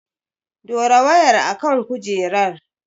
Dora wayar a kan kujerar!